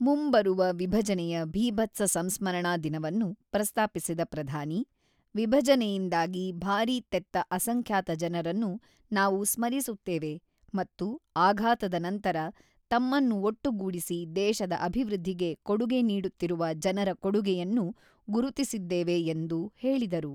ಮುಂಬರುವ ವಿಭಜನೆಯ ಭೀಭತ್ಸ ಸಂಸ್ಮರಣಾ ದಿನವನ್ನು ಪ್ರಸ್ತಾಪಿಸಿದ ಪ್ರಧಾನಿ, ವಿಭಜನೆಯಿಂದಾಗಿ ಭಾರಿ ತೆತ್ತ ಅಸಂಖ್ಯಾತ ಜನರನ್ನು ನಾವು ಸ್ಮರಿಸುತ್ತೇವೆ ಮತ್ತು ಆಘಾತದ ನಂತರ ತಮ್ಮನ್ನು ಒಟ್ಟುಗೂಡಿಸಿ ದೇಶದ ಅಭಿವೃದ್ಧಿಗೆ ಕೊಡುಗೆ ನೀಡುತ್ತಿರುವ ಜನರ ಕೊಡುಗೆಯನ್ನು ಗುರುತಿಸಿದ್ದೇವೆ ಎಂದು ಹೇಳಿದರು.